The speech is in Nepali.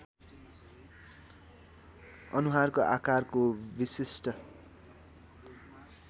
अनुहारको आकारको विशिष्ट